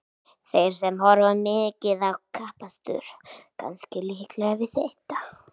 Þeir sem horfa mikið á kappakstur kannast líklega við þetta.